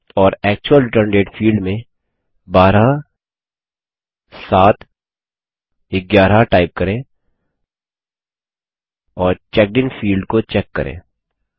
और actual return date field में 12711 type करें और चेकडिन फील्ड को चेक करें